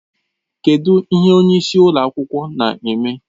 Kedụ ihe onye isi ụlọ akwụkwọ na-eme?